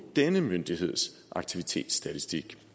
denne myndigheds aktivitetsstatistik